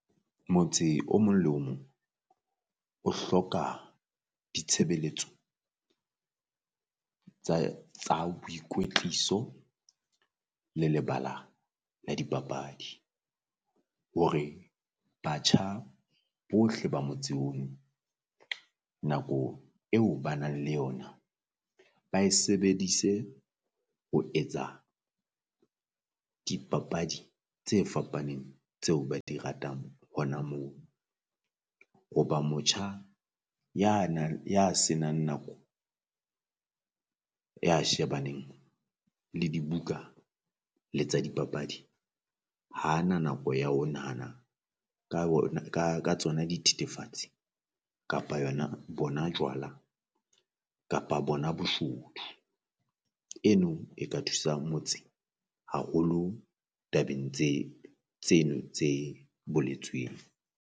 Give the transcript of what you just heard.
Motse o mong le mong o hloka ditshebeletso tsa tsa boikwetliso le lebala la dipapadi. Hore batjha bohle ba motse ono nako eo ba nang le yona ba e sebedise ho etsa dipapadi tse fapaneng tseo ba di ratang hona moo. Hoba motjha ya na ya se nang nako, ya shebaneng le dibuka le tsa dipapadi ha ana nako ya ho nahana ka wona ka ka tsona dithetefatsi kapa yona bona jwala kapa bona boshodu. Eno e ka thusa motse haholo tabeng tse tseno tse boletsweng.